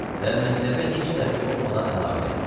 Və mətləbə heç dəxli olmadan əlavə elədi.